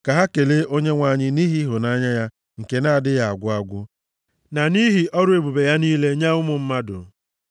Ka ha kelee Onyenwe anyị nʼihi ịhụnanya ya nke na-adịghị agwụ agwụ na nʼihi ọrụ ebube ya niile nye ụmụ mmadụ.